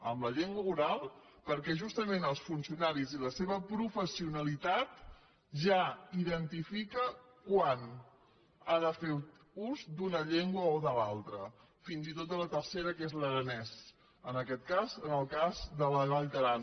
en la llengua oral perquè justament els funcionaris i la seva professionalitat ja identifiquen quan han de fer ús d’una llengua o de l’altra fins i tot de la tercera que és l’aranès en aquest cas en el cas de la vall d’aran